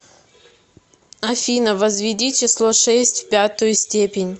афина возведи число шесть в пятую степень